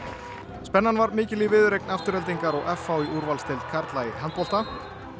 spennan var mikil í viðureign Aftureldingar og f h í úrvalsdeild karla í handbolta